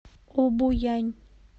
обоянь